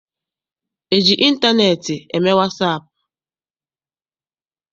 E ji ịntaneetị eme wasaapụ?